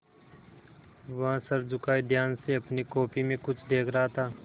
वह सर झुकाये ध्यान से अपनी कॉपी में कुछ देख रहा था